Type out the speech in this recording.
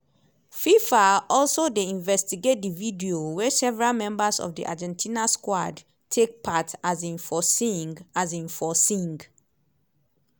fifa also dey investigate di video wey several members of di argentina squad take part um for sing. um for sing.